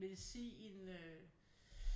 Medicin øh